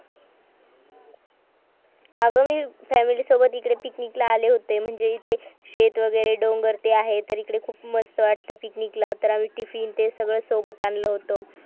अग मी family सोबत इकडे पिकनिक ला आले होतो म्हणजे इथे शेत वगैरे डोंगर ते आहे तर इकडे खूप मस्त वाटत picnic ला तर आम्ही टिफिन ते सगळं सोबत आणलं होतो